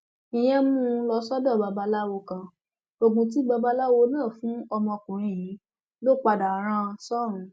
ìyẹn mú un lọ sọdọ babaláwo kan oògùn tí babaláwo náà fún ọmọkùnrin yìí ló padà rán an sọrùn